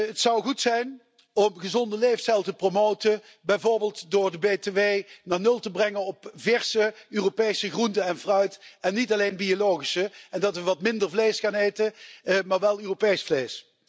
Het zou goed zijn om een gezonde levensstijl te promoten, bijvoorbeeld door de btw naar 0 te brengen op verse Europese groente en fruit en niet alleen biologische en dat we wat minder vlees gaan eten, maar wel Europees vlees.